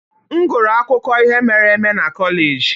M gụrụ akụkọ ihe mere eme na kọleji.